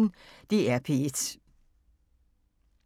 DR P1